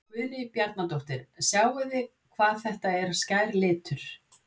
Guðrún Bjarnadóttir: Sjáið hvað þetta er skær litur?